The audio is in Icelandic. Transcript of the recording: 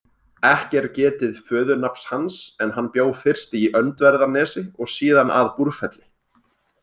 Ekki er getið föðurnafns hans en hann bjó fyrst í Öndverðarnesi og síðan að Búrfelli.